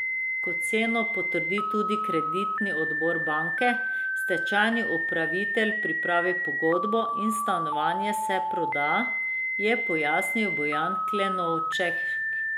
Ko ceno potrdi tudi kreditni odbor banke, stečajni upravitelj pripravi pogodbo in stanovanje se proda, je pojasnil Bojan Klenovšek.